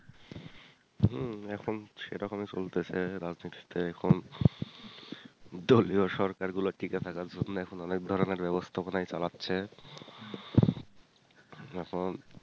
এখন হম এখন সেরকম ই চলতেসে রাজনীতিতে এখন দলীয় সরকার গুলো টিকে থাকার জন্য এখন অনেক ধরনের ব্যাবস্থা পনাই চালাচ্ছে